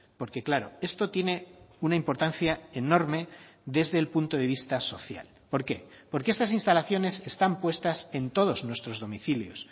porque claro esto tiene una importancia enorme desde el punto de vista social por qué porque estas instalaciones están puestas en todos nuestros domicilios